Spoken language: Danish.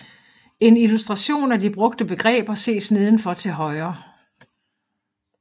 En illustration af de brugte begreber ses nedenfor til højre